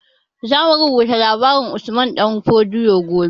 Zamu rubuta labarin usman ɗan fodio gobe